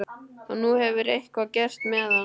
Og nú hefur eitthvað gerst með hann.